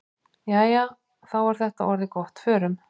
Jæja, þá er þetta orðið gott. Förum.